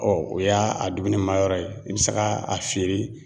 o y'a a dumuni ma yɔrɔ ye, i bɛ se ka a fiyere